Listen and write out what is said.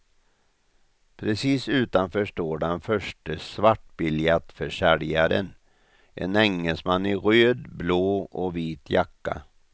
Precis utanför står den förste svartbiljettförsäljaren, en engelsman i röd, blå och vit jacka.